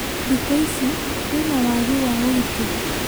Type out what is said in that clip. Thikũ ici kwĩna wagĩ wa ũgĩtĩri